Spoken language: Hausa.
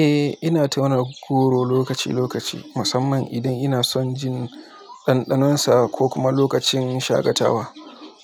Eh, ina tauna goro lokaci-lokaci, musamman idan ina son jin ɗanɗanon sa ko kuma lokacin shagatawa.